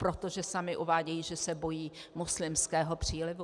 Protože sami uvádějí, že se bojí muslimského přílivu.